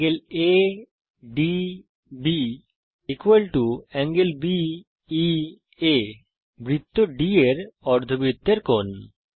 ∠ ADB ∠ BEA বৃত্ত D এর অর্ধবৃত্তের কোণ